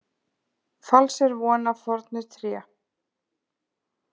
Falls er von af fornu tré.